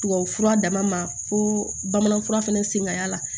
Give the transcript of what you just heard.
Tubabufura dama fo bamanan fura fana sen ka y'a la